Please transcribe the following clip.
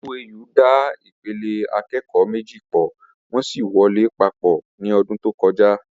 OAU da ìpele akẹ́kọ̀ọ́ méjì pọ̀, wọ́n sì wọ lé papọ̀ ní ọdún tó kọjá